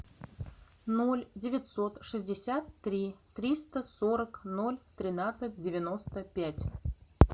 ноль девятьсот шестьдесят три триста сорок ноль тринадцать девяносто пять